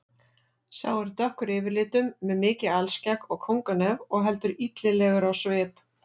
Sá er dökkur yfirlitum með mikið alskegg og kónganef og heldur illilegur á svip.